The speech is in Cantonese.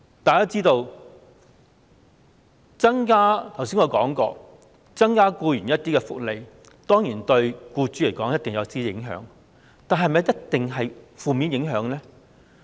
我剛才說過，增加僱員福利，對僱主來說當然會有影響，但是否一定是負面影響呢？